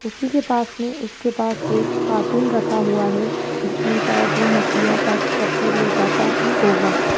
उसी के पास में उसके पास एक कार्टून रखा हुआ है जिसमें शायद वो मछलियां पैक करके ले जाता ही होगा।